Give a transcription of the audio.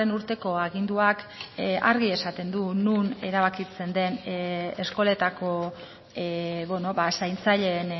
urteko aginduak argi esaten du non erabakitzen den eskoletako zaintzaileen